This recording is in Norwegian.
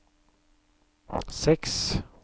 seks